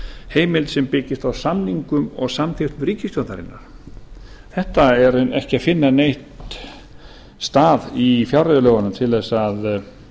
heimild sem byggist á samningum og samþykkt ríkisstjórnarinnar um þetta er ekki að finna neinn stað í fjárreiðulögunum til að